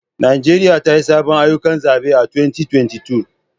Najeriya ta yi sabbin ayyukan zabe a 2022